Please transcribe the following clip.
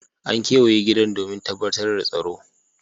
An kewaye gidan domin tabbatar da tsaro.